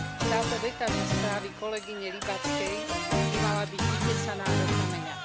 Táto veta zo správy kolegyne Łybackej by mala byť vytesaná do kameňa.